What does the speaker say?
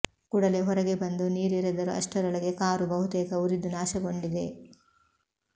ಕೂಡಲೇ ಹೊರಗೆ ಬಂದು ನೀರೆರೆದರೂ ಅಷ್ಟರೊಳಗೆ ಕಾರು ಬಹುತೇಕ ಉರಿದು ನಾಶಗೊಂಡಿದೆ